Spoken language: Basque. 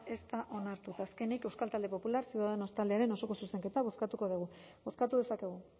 ez da onartu eta azkenik euskal talde popular ciudadanos taldearen osoko zuzenketa bozkatuko dugu bozkatu dezakegu